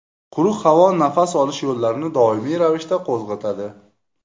Quruq havo nafas olish yo‘llarini doimiy ravishda qo‘zg‘atadi.